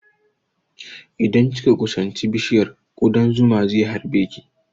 Idan kika kusanci bishiyar, ƙudan zuman ze harbe ki